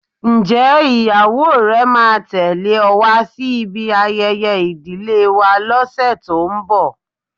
Ǹjẹ́ ìyàwó rẹ máa tẹle ọ wá sí ibi ayẹyẹ ìdílé wa lọse tó ń bọ̀?